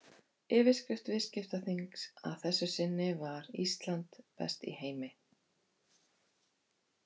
Yfirskrift viðskiptaþings að þessu sinni var Ísland besti í heimi?